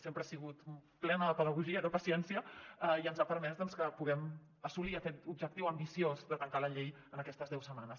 sempre ha sigut plena de pedagogia i de paciència i ens ha permès doncs que puguem assolir aquest objectiu ambiciós de tancar la llei en aquestes deu setmanes